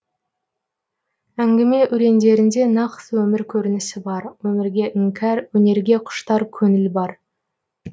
әңгіме өлеңдерінде нақты өмір көрінісі бар өмірге іңкәр өнерге құштар көңіл бар